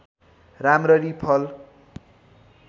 राम्ररी फल